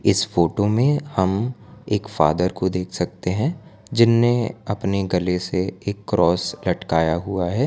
इस फोटो में हम एक फादर को देख सकते हैं जिन्हें अपने गले से एक क्रॉस लटकाया हुआ है।